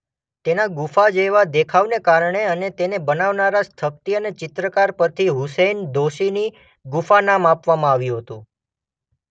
તેના ગુફા જેવા દેખાવ કારણે અને તેને બનાવનારા સ્થપતિ અને ચિત્રકાર પરથી હુસૈન દોશીની ગુફા નામ આપવામાં આવ્યું હતું.